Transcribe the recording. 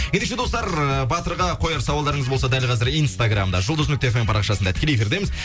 ендеше достар ыыы батырға қояр сауалдарыңыз болса дәл қазір инстаграмда жұлдыз нүкте эф эм парақшасында тікелей эфирдеміз